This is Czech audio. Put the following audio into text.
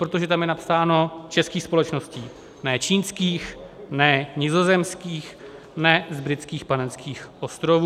Protože tam je napsáno českých společností, ne čínských, ne nizozemských, ne z Britských Panenských ostrovů.